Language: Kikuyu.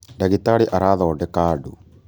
Ndagĩtarĩ arathondeka andũ